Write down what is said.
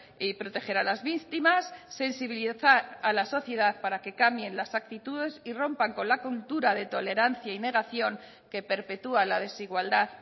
y proteger a las víctimas sensibilizar a la sociedad para que cambien las actitudes y rompan con la cultura de tolerancia y negación que perpetua la desigualdad